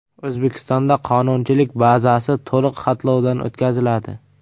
O‘zbekistonda qonunchilik bazasi to‘liq xatlovdan o‘tkaziladi.